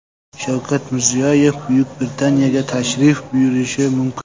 Shavkat Mirziyoyev Buyuk Britaniyaga tashrif buyurishi mumkin.